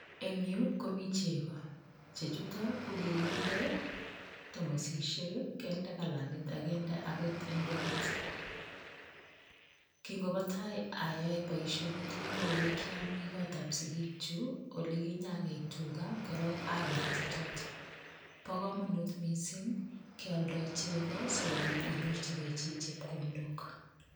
Eng' yuu komii cheko, chechuton ko kikinde tomosishek, kinde kalanit ak kinde akot indoit, king'obotai oyoe boishonito ko elekiomi kotab sikikyuk olekinyakei tukaa korong aker chechotok, bokomonut mising keoldo cheko sikobit inyorchike chepkondok.